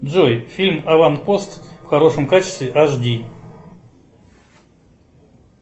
джой фильм аванпост в хорошем качестве аш ди